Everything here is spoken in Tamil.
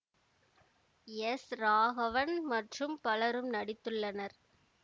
எஸ் ராகவன் மற்றும் பலரும் நடித்துள்ளனர்